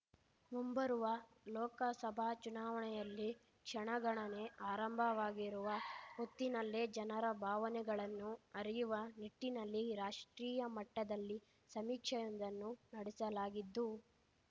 ಮುಂಬರುವ ಲೋಕಸಭಾ ಚುನಾವಣೆಯಲ್ಲಿ ಕ್ಷಣಗಣನೆ ಆರಂಭವಾಗಿರುವ ಹೊತ್ತಿನಲ್ಲೇ ಜನರ ಭಾವನೆಗಳನ್ನು ಅರಿಯುವ ನಿಟ್ಟಿನಲ್ಲಿ ರಾಷ್ಟ್ರೀಯ ಮಟ್ಟದಲ್ಲಿ ಸಮೀಕ್ಷೆಯೊಂದನ್ನು ನಡೆಸಲಾಗಿದ್ದು